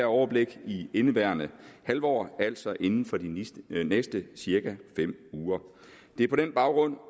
overblik her i indeværende halvår altså inden for de næste cirka fem uger det er på den baggrund